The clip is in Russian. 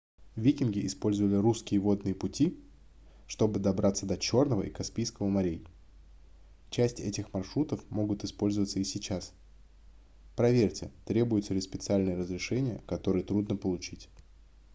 викинги использовали русские водные пути чтобы добраться до чёрного и каспийского морей часть этих маршрутов могут использоваться и сейчас проверьте требуются ли специальные разрешения которые трудно получить